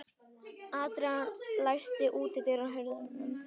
Adrian, læstu útidyrunum.